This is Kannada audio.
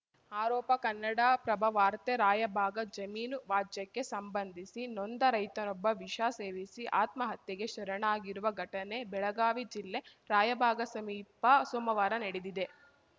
ಆರೋಪ ಕನ್ನಡಪ್ರಭ ವಾರ್ತೆ ರಾಯಬಾಗ ಜಮೀನು ವಾಜ್ಯಕ್ಕೆ ಸಂಬಂಧಿಸಿ ನೊಂದ ರೈತನೊಬ್ಬ ವಿಷ ಸೇವಿಸಿ ಆತ್ಮಹತ್ಯೆಗೆ ಶರಣಾಗಿರುವ ಘಟನೆ ಬೆಳಗಾವಿ ಜಿಲ್ಲೆ ರಾಯಭಾಗ ಸಮೀಪ ಸೋಮವಾರ ನಡೆದಿದೆ